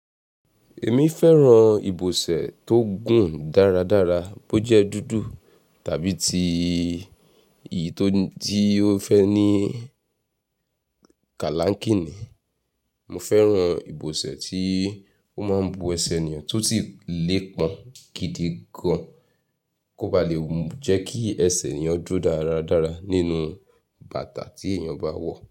Èmi fẹ́ràn ìbòsẹ̀ tó gùn dáradára, bó jẹ́ dúdú tàbí ti ìyí tó ti ó fẹ́ ní kálánkíni. Mo fẹ́ràn ìbòsẹ̀ tí ó máa ń bò ẹsẹ̀ ènìyàn tó ti lé pọn gidi gan, kó ba lè jẹ́ kí ẹsẹ̀ ènìyàn dúró dáradára nínú bàtà tí èèyàn bá wọ̀